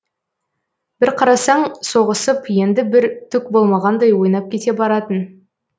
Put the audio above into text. бір қарасаң соғысып енді бір түк болмағандай ойнап кете баратын